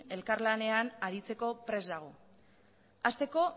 elkarlanean aritzeko prest dago hasteko